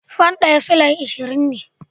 Fan ɗaya Sulai ashirin ne